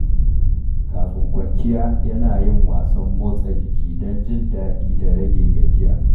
Kafin kwanciya, yana yin wasan motsa jiki don jin daɗi da rage gajiya.